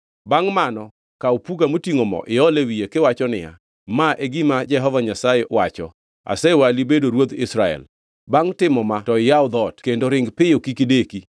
Bangʼ mano, kaw puga motingʼo mo iol e wiye kiwacho niya, ‘Ma e gima Jehova Nyasaye wacho: Asewali bedo ruodh Israel.’ Bangʼ timo ma to iyaw dhoot; kendo ring piyo, kik ideki!”